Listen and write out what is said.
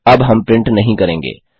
अब हम प्रिंट नहीं करेंगे